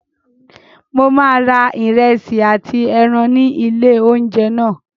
Mo máa ra ìrẹsì àti ẹran ní ilé oúnjẹ náà.